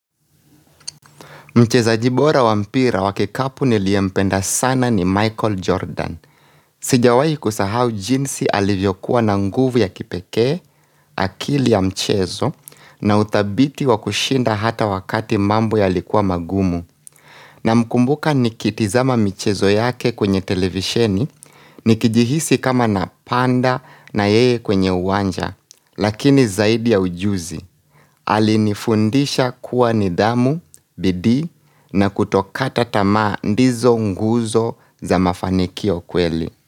Mchezaji bora wampira wa kikapu niliyempenda sana ni Michael Jordan. Sijawahi kusahau jinsi alivyokuwa na nguvu ya kipekee, akili ya mchezo, na uthabiti wa kushinda hata wakati mambo yalikuwa magumu. Namkumbuka nikitizama mchezo yake kwenye televisheni, nikijihisi kama napanda na yeye kwenye uwanja. Lakini zaidi ya ujuzi, alinifundisha kuwa nidhamu, bidii na kutokata tamaa ndizo nguzo za mafanikio kweli.